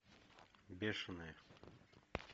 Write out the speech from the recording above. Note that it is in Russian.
бешеные